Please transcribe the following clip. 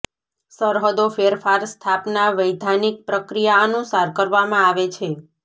સરહદો ફેરફાર સ્થાપના વૈધાનિક પ્રક્રિયા અનુસાર કરવામાં આવે છે